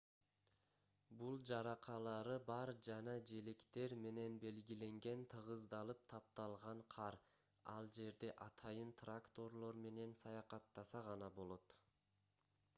бул жаракалары бар жана желектер менен белгиленген тыгыздалып тапталган кар ал жерде атайын тракторлор менен саякаттаса гана болот